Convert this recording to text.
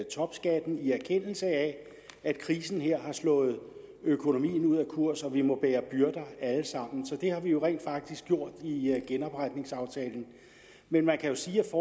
topskatten i erkendelse af at krisen her har slået økonomien ud af kurs og vi må bære byrder alle sammen så det har vi jo rent faktisk gjort i genopretningsaftalen men man kan sige at